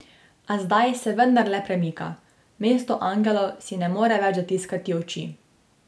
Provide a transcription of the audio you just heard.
A zdaj se vendarle premika, mesto angelov si ne more več zatiskati oči.